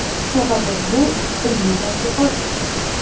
Sababi bu ilmiy tadqiqot.